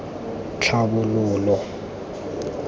tlhabololo